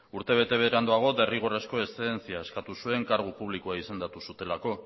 urtebete beranduago derrigorrezko eszedentzia eskatu zuen kargu publikoa izendatu zutelako